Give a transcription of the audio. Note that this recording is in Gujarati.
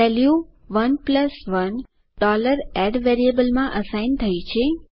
વેલ્યુ 11 add વેરિયેબલમાં અસાઇન થઇ છે